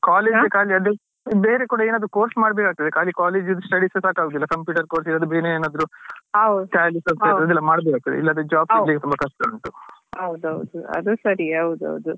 ಬೇರೆ ಕೂಡ ಏನಾದ್ರು course ಮಾಡಬೇಕಾಗ್ತದೆ ಖಾಲಿ college ದ್ದು studies ಸಾಕಗುದಿಲ್ಲ computer course ಬೇರೆ ಏನಾದ್ರು. ಸ್ವಲ್ಪ ಅದ್ ಮಾಡಬೇಕಾಗ್ತದೆ ಇಲ್ಲಾಂದ್ರೆ job ಸಿಗ್ಲಿಕ್ಕೆ ಸ್ವಲ್ಪ ಕಷ್ಟ ಉಂಟು.